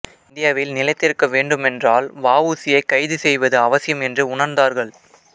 இந்தியாவில் நிலைத்திருக்க வேண்டுமென்றால் வ உ சி யைக் கைது செய்வது அவசியம் என்று உணர்ந்தார்கள்